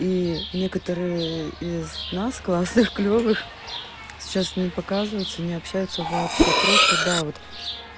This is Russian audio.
и некоторые из нас классных клёвых сейчас не показываются не общаются вообще просто да вот